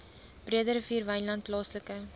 breederivier wynland plaaslike